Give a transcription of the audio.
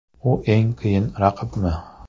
U eng qiyin raqibmi?